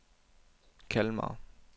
Kalmar